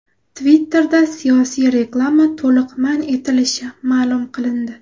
Twitter’da siyosiy reklama to‘liq man etilishi ma’lum qilindi.